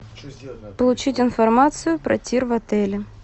получить информацию про тир в отеле